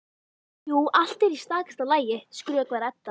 Jú, allt er í stakasta lagi, skrökvar Edda.